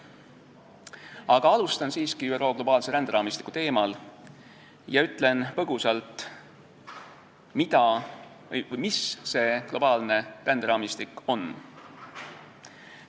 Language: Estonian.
Aga alustan siiski ÜRO globaalse ränderaamistiku teemal ja räägin põgusalt, mis see globaalne ränderaamistik on.